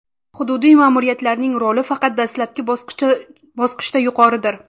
Hududiy ma’muriyatlarning roli faqat dastlabki bosqichda yuqoridir.